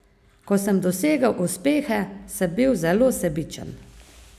Ko sem dosegal uspehe, sem bil zelo sebičen.